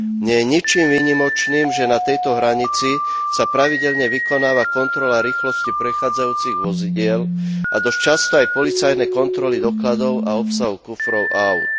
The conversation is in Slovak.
Nie je ničím výnimočným, že na tejto hranici sa pravidelne vykonáva kontrola rýchlosti prechádzajúcich vozidiel a dosť často aj policajné kontroly dokladov a obsahu kufrov áut.